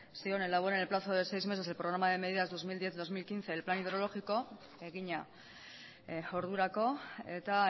zioen se elabore en el plazo de seis meses el programa de medidas dos mil diez dos mil quince el plan hidrológico egina ordurako eta